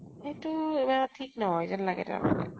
সেইটো ইমান ঠিক নহয় যেন লাগে তাৰমানে ।